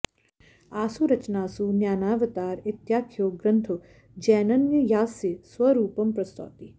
आसु रचनासु न्यायावतार इत्याख्यो ग्रन्थो जैनन्ययास्य स्वरूपं प्रस्तौति